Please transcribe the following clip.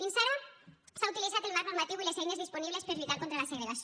fins ara s’han utilitzat el marc normatiu i les eines disponibles per lluitar contra la segregació